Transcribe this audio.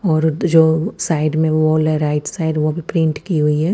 और जो साइड में वो वाला राइट साइड वो भी पेंट किय हुई है।